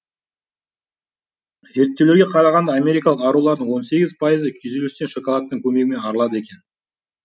зерттеулерге қарағанда америкалық арулардың он сегіз пайызы күйзелістен шоколадтың көмегімен арылады екен